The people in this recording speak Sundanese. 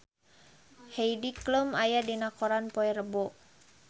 Heidi Klum aya dina koran poe Rebo